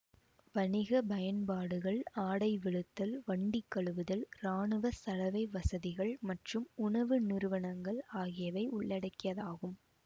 வணிக பயன்பாடுகள் ஆடை வெளுத்தல் வண்டி கழுவுதல் இராணுவ சலவை வசதிகள் மற்றும் உணவு நிறுவனங்கள் ஆகியவை உள்ளடக்கியதாகும்